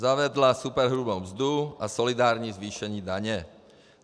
Zavedla superhrubou mzdu a solidární zvýšení daně.